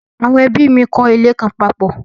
Àwọn ẹ́bí mi n kọ́ ilé kan papọ̀